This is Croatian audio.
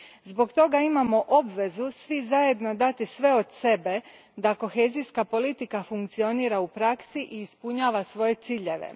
Zbog toga imamo obvezu svi zajedno dati sve od sebe da kohezijska politika funkcionira u praksi i ispunjava svoje ciljeve.